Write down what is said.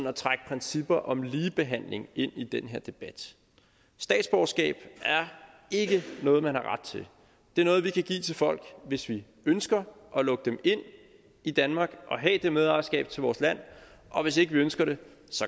at trække principper om ligebehandling ind i den her debat statsborgerskab er ikke noget man har ret til det er noget vi kan give til folk hvis vi ønsker at lukke dem ind i danmark og have det medejerskab til vores land og hvis ikke vi ønsker det